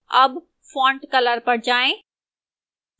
अब font color पर जाएं